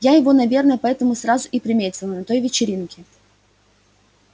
я его наверное поэтому сразу и приметила на той вечеринке